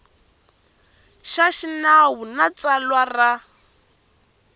xa xinawu na tsalwa ra